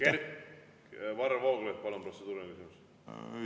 Varro Vooglaid, palun, protseduuriline küsimus!